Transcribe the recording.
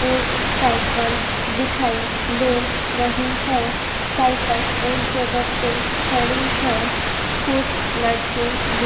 एक साईकिल दिखाई दे रही है साईकिल एक जगह पे खड़ी है कुछ लड़के दिख --